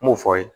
N m'o fɔ ye